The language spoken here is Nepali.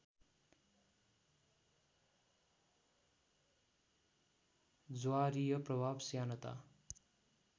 ज्वारीय प्रभाव श्यानता